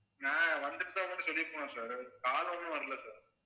வந்திருந்தா உங்ககிட்ட சொல்லிருப்பேன் sir call ஒண்ணும் வரலையே sir